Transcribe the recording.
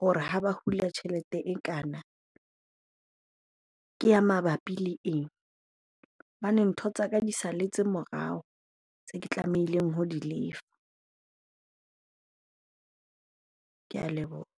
hore ha ba hula tjhelete ekana ke ya mabapi le eng? Hobane ntho tsa ka di salletse morao tseo ke tlamehileng ho di lefa. Ke a leboha.